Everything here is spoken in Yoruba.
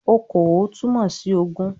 "Okòó" túmọ̀ sí ogún